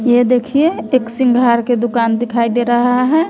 ये देखिए एक सिंगार के दुकान दिखाई दे रहा है।